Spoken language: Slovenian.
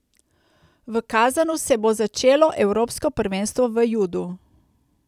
V Kazanu se bo začelo evropsko prvenstvo v judu.